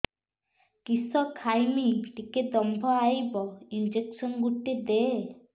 କିସ ଖାଇମି ଟିକେ ଦମ୍ଭ ଆଇବ ଇଞ୍ଜେକସନ ଗୁଟେ ଦେ